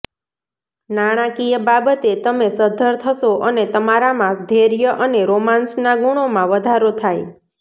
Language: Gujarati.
નાણાકીય બાબતે તમે સદ્ધર થશો અને તમારામાં ધૈર્ય અને રોમાન્સના ગુણોમાં વધારો થાય